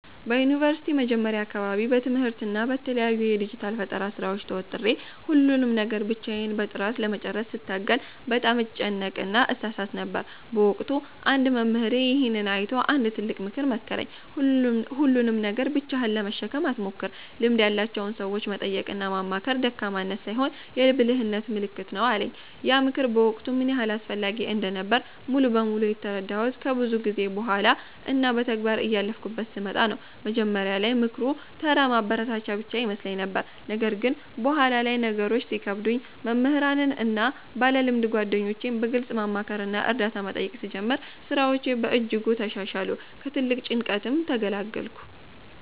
በዩኒቨርሲቲ መጀመሪያ አካባቢ በትምህርትና በተለያዩ የዲጂታል ፈጠራ ሥራዎች ተወጥሬ፣ ሁሉንም ነገር ብቻዬን በጥራት ለመጨረስ ስታገል በጣም እጨነቅና እሳሳት ነበር። በወቅቱ አንድ መምህሬ ይሄንን አይቶ አንድ ትልቅ ምክር መከረኝ፦ "ሁሉንም ነገር ብቻህን ለመሸከም አትሞክር፤ ልምድ ያላቸውን ሰዎች መጠየቅና ማማከር ደካማነት ሳይሆን የብልህነት ምልክት ነው" አለኝ። ያ ምክር በወቅቱ ምን ያህል አስፈላጊ እንደነበረ ሙሉ በሙሉ የተረዳሁት ከብዙ ጊዜ በኋላ እና በተግባር እያለፍኩበት ስመጣ ነው። መጀመሪያ ላይ ምክሩ ተራ ማበረታቻ ብቻ ይመስለኝ ነበር። ነገር ግን በኋላ ላይ ነገሮች ሲከብዱኝ መምህራንን እና ባለልምድ ጓደኞቼን በግልጽ ማማከርና እርዳታ መጠየቅ ስጀምር፣ ሥራዎቼ በእጅጉ ተሻሻሉ፤ ከትልቅ ጭንቀትም ተገላገልኩ።